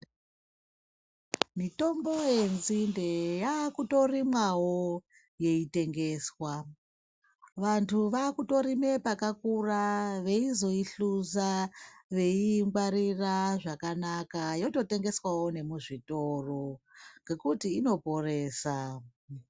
Mitombo yenzinde yakutorimwawo yeitengeswa vantu vakutorima pakakura veizoihluza veiingwarira zvakanaka yototengeswawo nemuzvitoro ngekuti inoporesa.